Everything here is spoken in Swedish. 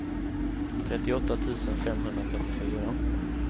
trettioåtta tusen femhundratrettiofyra